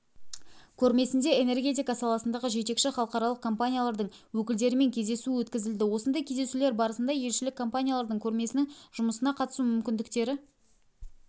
көрмесінде энергетика саласындағы жетекші халықаралық компаниялардың өкілдерімен кездесу өткізілді осындай кездесулер барысында елшілік компаниялардың көрмесінің жұмысына қатысу мүмкіндіктері